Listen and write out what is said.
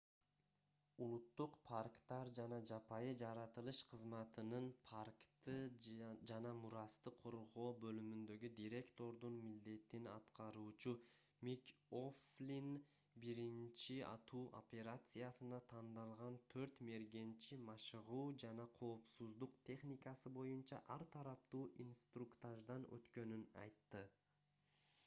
улуттук парктар жана жапайы жаратылыш кызматынын npws паркты жана мурасты коргоо бөлүмүндөгү директордун милдетин аткаруучу мик о'флин биринчи атуу операциясына тандалган төрт мергенчи машыгуу жана коопсуздук техникасы боюнча ар тараптуу инструктаждан өткөнүн айтты